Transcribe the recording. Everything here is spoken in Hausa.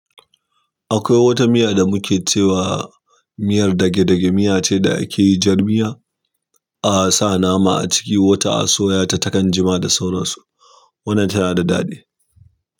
Akwai wata miya da muke cewa miyar dage-dage. Miya ce da ake yi jar miya, a sa nama a ciki, wata a soya ta taɗan jima da sauransu. Wannan tana da daɗi.